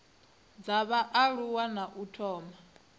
dza vhaaluwa na u thoma